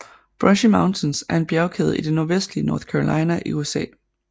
Brushy Mountains er en bjergkæde i det nordvestlige North Carolina i USA